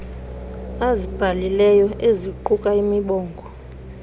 azibhalileyo eziquka imibongo